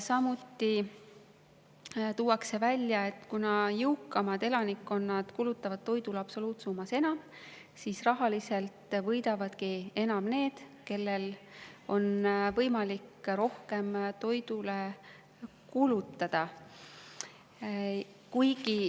Samuti tuuakse välja, et kuna jõukamad elanikud kulutavad toidule absoluutsummas enam, siis rahaliselt võidavadki enam need, kellel on võimalik rohkem toidule kulutada.